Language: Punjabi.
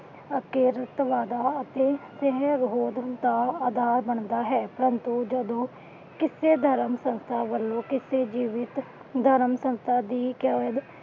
ਪ੍ਰੰਤੂ ਜਦੋ ਕਿਸੇ ਧਰਮ ਸੰਸਥਾ ਵਲੋਂ ਕਿਸੇ ਜੀਵਿਤ ਧਰਮ ਸੰਸਥਾ ਦੀ